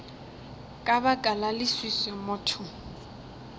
ka baka la leswiswi motho